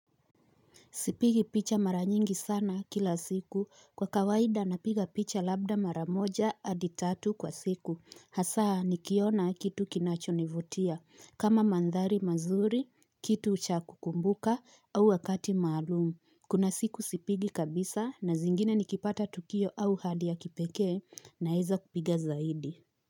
Sipigi picha mara nyingi sana kila siku. Kwa kawaida napiga picha labda mara moja hadi tatu kwa siku. Hasaa nikiona kitu kinacho nivutia. Kama mandhari mazuri, kitu cha kukumbuka au wakati maalumu. Kuna siku sipigi kabisa na zingine nikipata tukio au hadi ya kipeke naeza kupiga zaidi.